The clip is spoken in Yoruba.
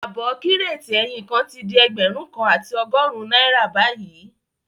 Ààbọ̀ Kírètì ẹyin kan tí di ẹgbẹ̀rún kan àti ọgọ́rùn-ún náírà bayii